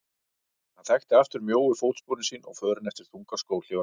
Hann þekkti aftur mjóu fótsporin sín og förin eftir þungar skóhlífar prestsins.